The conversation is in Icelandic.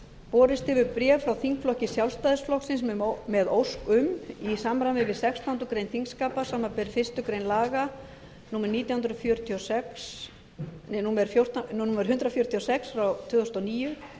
borist hefur bréf frá þingflokki sjálfstæðisflokksins með ósk um í samræmi við sextándu grein þingskapa samanber fyrstu grein laga númer hundrað fjörutíu og sex tvö þúsund og níu